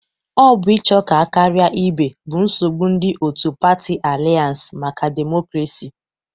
Ọ bụ ịcho ka a karia ibe bụ nsogbụ ndị otu patị Alianse maka demokrasi.